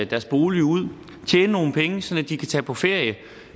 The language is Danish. deres bolig ud tjene nogle penge sådan at de kan tage på ferie